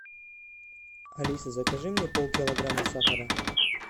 алиса закажи мне полкилограмма сахара